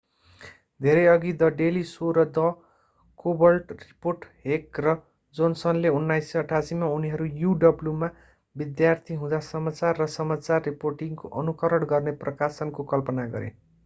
धेरैअघि the Daily Show र the Colbert Report Heck र जोनसनले 1988 मा उनीहरू uw मा विद्यार्थी हुँदा समाचार र समाचार रिपोर्टिङको अनुकरण गर्ने प्रकाशनको कल्पना गरे